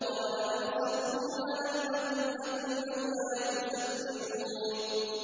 قَالَ أَوْسَطُهُمْ أَلَمْ أَقُل لَّكُمْ لَوْلَا تُسَبِّحُونَ